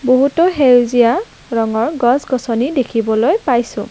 বহুতো সেউজীয়া ৰঙৰ গছ-গছনি দেখিবলৈ পাইছোঁ।